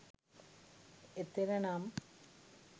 එතෙර නම්,